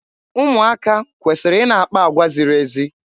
Ụmụaka kwesịrị ị na-akpa agwa ziri ezi.